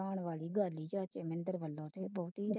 ਹੈਰਾਨ ਵਾਲੀ ਗੱਲ ਏ ਚਾਚੇ ਨੇ